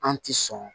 An ti sɔn